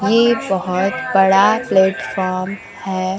ये बहोत बड़ा प्लेटफार्म है।